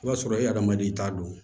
O b'a sɔrɔ e hadamaden i t'a dɔn